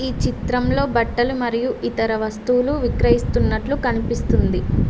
ఈ చిత్రంలో బట్టలు మరియు ఇతర వస్తువులు విక్రయిస్తున్నట్లు కనిపిస్తుంది.